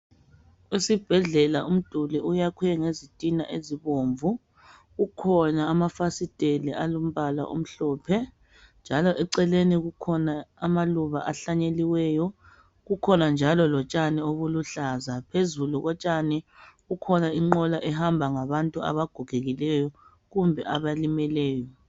Esibhedlela umduli uyakhwe ngezitina ezibomvu kukhona amafasiteli alombala omhlophe njalo eceleni kukhona amaluba ahlanyeliweyo. Kukhona njalo lotshani obuluhlaza, phezulu kotshani kukhona inqola ehamba ngabantu abagogekileyo kumbe abalimeleyo.